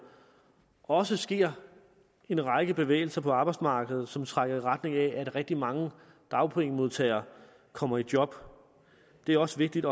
også sker en række bevægelser på arbejdsmarkedet som trækker i retning af at rigtig mange dagpengemodtagere kommer i job det er også vigtigt